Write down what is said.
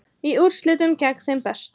Í úrslitum gegn þeim bestu